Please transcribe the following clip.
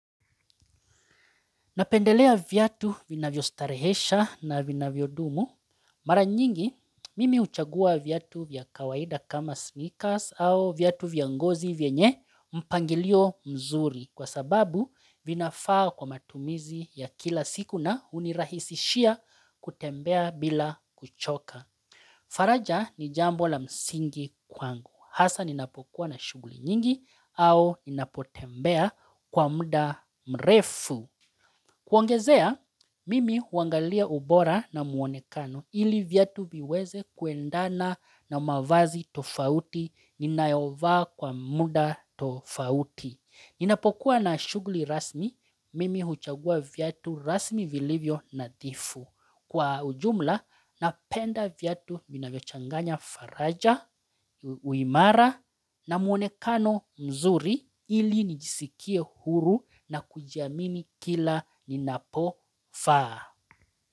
Napendelea viatu vinavyo starehesha na vinavyo dumu. Mara nyingi, mimi uchagua viatu vya kawaida kama sneakers au viatu vya ngozi vyenye mpangilio mzuri kwa sababu vinafaa kwa matumizi ya kila siku na unirahisishia kutembea bila kuchoka. Faraja ni jambo la msingi kwangu. Hasa ninapokuwa na shughuli nyingi au ninapotembea kwa muda mrefu. Kuongezea, mimi huangalia ubora na muonekano ili viatu viweze kuendana na mavazi tofauti ninayovaa kwa muda tofauti. Ninapokuwa na shughli rasmi mimi huchagua viatu rasmi vilivyo nadifu. Kwa ujumla napenda viatu vinavyochanganya faraja, uimara na mwonekano mzuri ili nijisikie huru na kujiamini kila ninapovaa.